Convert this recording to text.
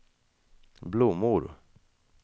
blommor